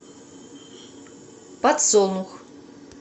подсолнух